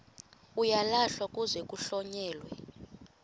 uyalahlwa kuze kuhlonyelwe